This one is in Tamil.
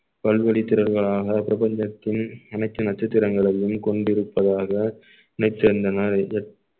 பல்வெளித் திறன்களாக பிரபஞ்சத்தின் அனைத்து நட்சத்திரங்களையும் கொண்டிருப்பதாக நினைத்திருந்தனர்